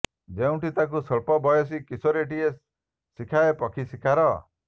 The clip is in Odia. ଯେଉଁଠି ତାକୁ ସ୍ୱଳ୍ପ ବୟସୀ କିଶୋରୀଟିଏ ଶିଖାଏ ପକ୍ଷୀ ଶିକାର୍